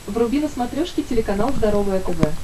вруби на смотрешке телеканал здоровое тв